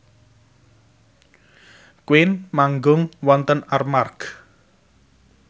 Queen manggung wonten Armargh